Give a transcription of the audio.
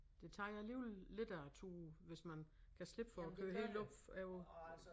Det tager jo alligevel lidt af æ tur hvis man kan slippe for at køre helt opover